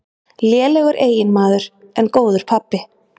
Lélegur eiginmaður, en góður pabbi.